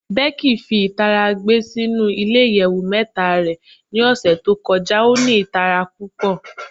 Becky fi itara gbe sinu ile iyẹwu mẹta rẹ ni ọsẹ to kọja o ni itara pupọ